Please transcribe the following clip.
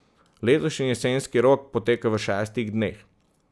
Letošnji jesenski rok poteka v šestih dneh.